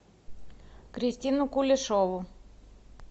кристину кулешову